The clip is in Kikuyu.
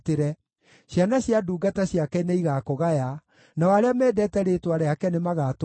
ciana cia ndungata ciake nĩigakũgaya, nao arĩa mendete rĩĩtwa rĩake nĩmagatũũra kuo.